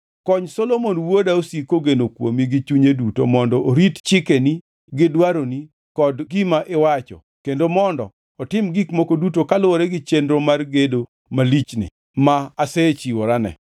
Kony Solomon wuoda osik kogeno kuomi gi chunye duto mondo orit chikeni gi dwaroni kod gima iwacho kendo mondo otim gik moko duto kaluwore gi chenro mar gedo malichni ma asechiworane.”